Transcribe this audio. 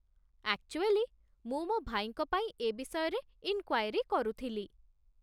Actually, ମୁଁ ମୋ ଭାଇଙ୍କ ପାଇଁ ଏ ବିଷୟରେ ଇନ୍‌କ୍ୟାଏରି କରୁଥିଲି ।